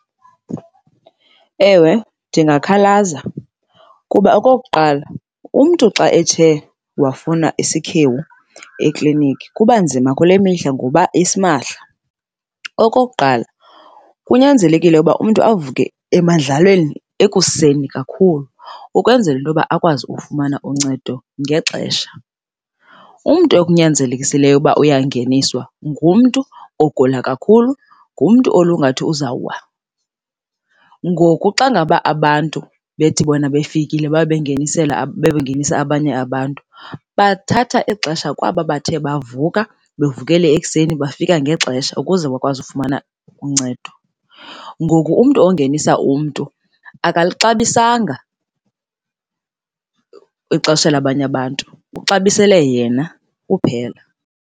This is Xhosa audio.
Ewe, ndingakhalaza kuba okokuqala umntu xa ethe wafuna isikhewu eklinikhi kuba nzima kule mihla ngoba isimahla. Okokuqala kunyanzelekile ukuba umntu avuke emendlalweni ekuseni kakhlu ukwenzela into yoba akwazi ukufumana uncedo ngexesha. Umntu ekunyanzelekisileyo ukuba uyangeniswa ngumntu ogula kakhulu, ngumntu olungathi uzawuwa. Ngoku xa ngaba abantu bethi bona befikile babe bengenisela, babe bengenisa abanye abantu bathatha ixesha kwaba bathe bavuka, bevukele ekuseni bafika ngexesha ukuze bakwazi ukufumana uncedo. Ngoku umntu ongenisa umntu akalixabisanga ixesha labanye abantu, uxabisele yena kuphela.